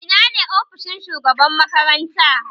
Ina ne ofishin shugaban makaranta?